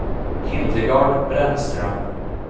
Hildegard Brännström